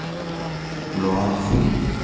loago